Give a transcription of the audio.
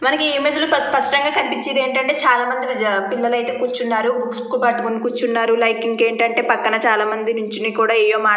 మనకి ఈ ఇమేజ్ లో స్పష్టంగా కనిపించేది ఏంటంటే చాలామంది పిల్లలు అయితే కూర్చున్నారు బుక్స్ పట్టుకొని కూర్చున్నారు లైక్ ఏంటంటే పక్కన చాలామంది నిల్చొని ని కూడా ఏవేవో మాట్లా --